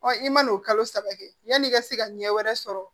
i man n'o kalo saba kɛ yani i ka se ka ɲɛ wɛrɛ sɔrɔ